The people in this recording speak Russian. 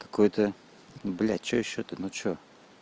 какой-то блядь что ещё то ну что